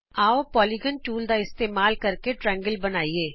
ਆਉ polygon tool ਦਾ ਇਸਤੇਮਾਲ ਕਰਕੇ ਤ੍ਰਿਕੋਣ ਬਣਾਈਏ